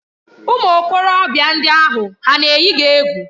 Ụmụ okorobịa ndị ahụ hà na-eyi gị egwu?